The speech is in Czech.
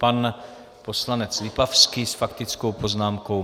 Pan poslanec Lipavský s faktickou poznámkou.